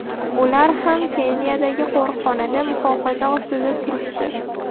Ular ham Keniyadagi qo‘riqxonada muhofaza ostida turibdi.